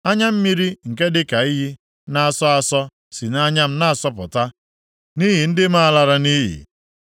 Anya mmiri nke dịka iyi na-asọ asọ si nʼanya m na-asọpụta nʼihi ndị m a lara nʼiyi.